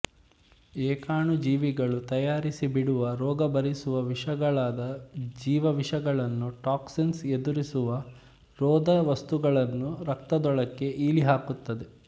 ಏಕಾಣುಜೀವಿಗಳು ತಯಾರಿಸಿ ಬಿಡುವ ರೋಗ ಬರಿಸುವ ವಿಷಗಳಾದ ಜೀವವಿಷಗಳನ್ನು ಟಾಕ್ಸಿನ್ಸ್ ಎದುರಿಸುವ ರೋಧವಸ್ತುಗಳನ್ನೂ ರಕ್ತದೊಳಕ್ಕೆ ಈಲಿ ಹಾಕುತ್ತದೆ